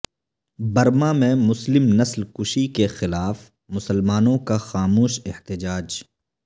Burma میں مسلم نسل کشی کے خلاف مسلمانوں کا خاموش احتجاج